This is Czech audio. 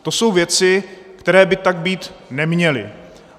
To jsou věci, které by tak být neměly.